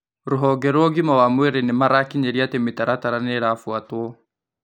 Rũhonge rwa ũgima mwega wa mwĩrĩ nĩmarakinyĩria atĩ mĩtaratara nĩ ĩrabuatwo